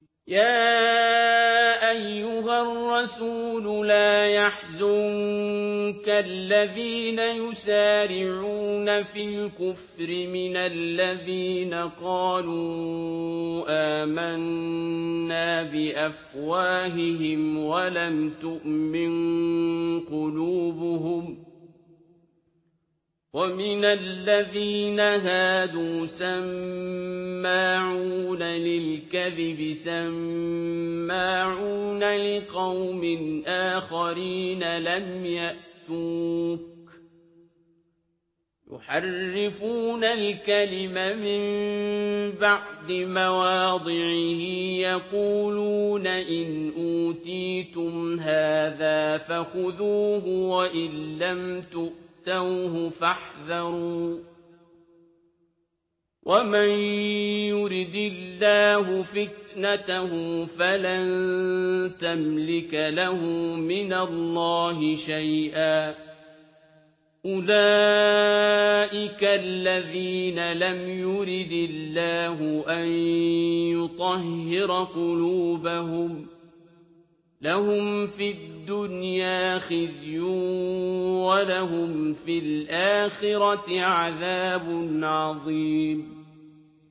۞ يَا أَيُّهَا الرَّسُولُ لَا يَحْزُنكَ الَّذِينَ يُسَارِعُونَ فِي الْكُفْرِ مِنَ الَّذِينَ قَالُوا آمَنَّا بِأَفْوَاهِهِمْ وَلَمْ تُؤْمِن قُلُوبُهُمْ ۛ وَمِنَ الَّذِينَ هَادُوا ۛ سَمَّاعُونَ لِلْكَذِبِ سَمَّاعُونَ لِقَوْمٍ آخَرِينَ لَمْ يَأْتُوكَ ۖ يُحَرِّفُونَ الْكَلِمَ مِن بَعْدِ مَوَاضِعِهِ ۖ يَقُولُونَ إِنْ أُوتِيتُمْ هَٰذَا فَخُذُوهُ وَإِن لَّمْ تُؤْتَوْهُ فَاحْذَرُوا ۚ وَمَن يُرِدِ اللَّهُ فِتْنَتَهُ فَلَن تَمْلِكَ لَهُ مِنَ اللَّهِ شَيْئًا ۚ أُولَٰئِكَ الَّذِينَ لَمْ يُرِدِ اللَّهُ أَن يُطَهِّرَ قُلُوبَهُمْ ۚ لَهُمْ فِي الدُّنْيَا خِزْيٌ ۖ وَلَهُمْ فِي الْآخِرَةِ عَذَابٌ عَظِيمٌ